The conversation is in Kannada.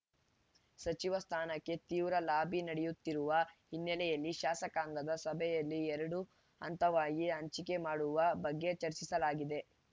ಸಚಿವ ಸ್ಥಾನಕ್ಕೆ ತೀವ್ರ ಲಾಬಿ ನಡೆಯುತ್ತಿರುವ ಹಿನ್ನೆಲೆಯಲ್ಲಿ ಶಾಸಕಾಂಗದ ಸಭೆಯಲ್ಲಿ ಎರಡು ಹಂತವಾಗಿ ಹಂಚಿಕೆ ಮಾಡುವ ಬಗ್ಗೆ ಚರ್ಚಿಸಲಾಗಿದೆ